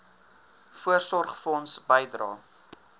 voorsorgfonds bydrae